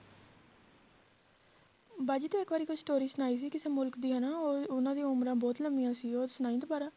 ਬਾਜੀ ਤੂੰ ਇੱਕ ਵਾਰੀ ਕੋਈ story ਸੁਣਾਈ ਸੀ ਕਿਸੇ ਮੁਲਕ ਦੀ ਹਨਾ, ਉਹ ਉਹਨਾਂ ਦੀ ਉਮਰਾਂ ਬਹੁਤ ਲੰਬੀਆਂ ਸੀ ਉਹ ਸੁਣਾਈ ਦੁਬਾਰਾ